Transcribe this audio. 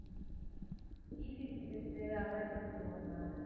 ECG test அதுதான் எடுக்கச் சொல்லுவாங்க